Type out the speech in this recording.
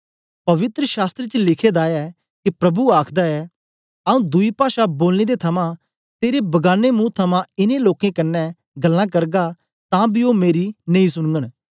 पवित्र शास्त्र च लिखे दा ऐ के प्रभु आखदा ऐ आऊँ दुई पाषा बोलने दे थमां ते बगाने मुंह थमां इनें लोकें कन्ने गल्लां करगा तां बी ओ मेरी नेई सुनगन